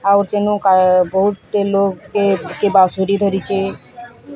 ଆଉ ସେନୁ କା ବହୁତେ ଲୋଗ କେ କେ ବସୁରୀ ଧରିଚେ।